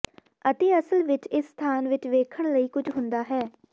ਅਤੇ ਅਸਲ ਵਿੱਚ ਇਸ ਸਥਾਨ ਵਿੱਚ ਵੇਖਣ ਲਈ ਕੁਝ ਹੁੰਦਾ ਹੈ